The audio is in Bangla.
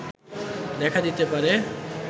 দেখা দিতে পারে